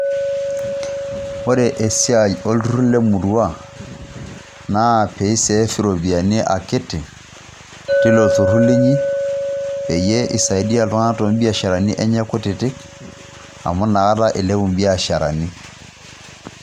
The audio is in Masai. wore esiai olturur emurua naa pisave ropiyiani akiti tolturur linyi peyie pisaidiaa iltung'anak toropiyiani kutitik amu nakata ilepu mbiasharani